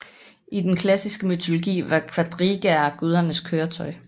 I den klassiske mytologi var kvadrigaer gudernes køretøj